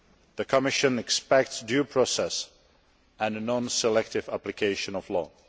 The Commission expects due process and non selective application of the law.